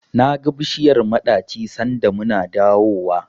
Naga bishiyar maɗaci sanda muna dawowa.